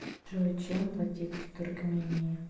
джой чем платить в туркмении